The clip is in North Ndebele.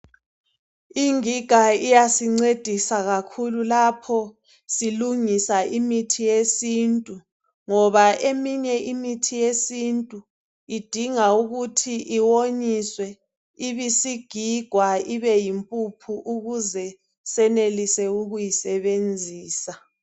Ingiga iyasincedisa kakhulu lapho silungisa imithi yesintu ngoba eminye imithi yesintu idinga ukuthi iwonyiswe ibisigigwa ibeyimpuphu ukuze senelise ukuyisebenzisa.